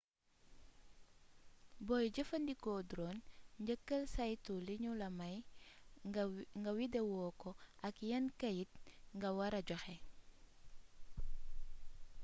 booy jëfandiko drone njëkkal saytu li ñula may nga widewo ko ak yan kayit nga wara joxe